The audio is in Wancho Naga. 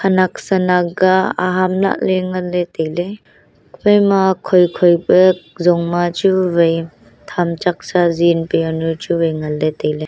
khena san aga aham lahley ngan ley tailey hephai ma khoi khoi pe jon ma chu wai thamchak sezi pe yanu chuwai ngan ley tailey.